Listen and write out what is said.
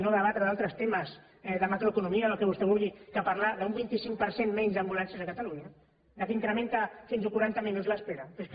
no debatre d’altres temes de macroeconomia o del que vostè vulgui i parlar d’un vint cinc per cent menys d’ambulàncies a catalunya que incrementa fins a quaranta minuts l’espera però és que